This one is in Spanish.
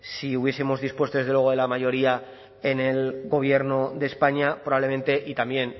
si hubiesemos dispuesto desde luego de la mayoría en el gobierno de españa probablemente y también